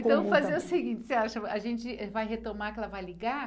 Então vamos fazer o seguinte, o que você acha, a gente vai retomar que ela vai ligar?